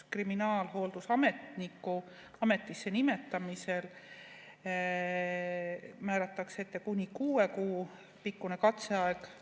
Kriminaalhooldusametniku ametisse nimetamisel nähakse ette kuni kuue kuu pikkune katseaeg.